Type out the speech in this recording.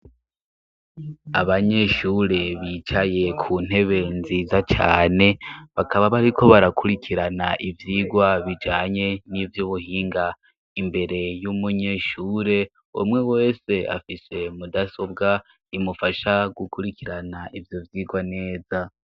Abanyeshure bicaye ku ntebe nziza cane, bakaba bariko barakurikirana ivyigwa bijanye n'ivy’ubuhinga; imbere y'umunyeshure, umwe wese afise mudasobwa imufasha gukurikirana ivyo vyigwa neza.